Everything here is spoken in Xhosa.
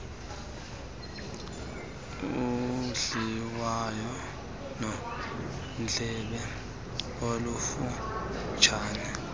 udliwano ndlebe olufutshane